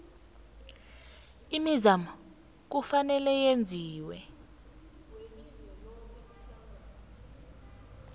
imizamo kufanele yenziwe